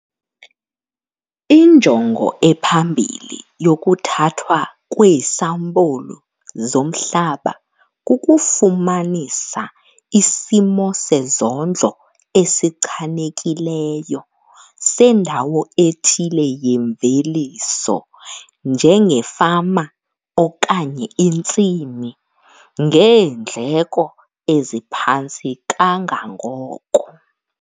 Injongo ephambili yokuthathwa kweesampulu zomhlaba kukufumanisa isimo sezondlo esichanekileyo sendawo ethile yemveliso njengefama okanye intsimi ngeendleko eziphantsi kangangoko.